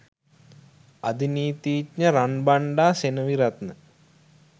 අධිනීතීඥ Ranbanda Seneviratne